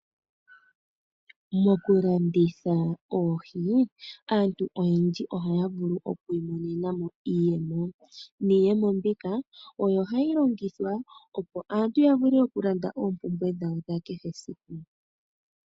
Mokulanditha oohi aantu oyendji ohaya vulu oku imonena mo iiyemo, niiyemo mbika oyo hayi longithwa opo aantu ya vule okulanda oompumbwe dhawo dha kehe esiku.